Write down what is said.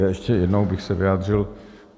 Ještě jednou bych se vyjádřil.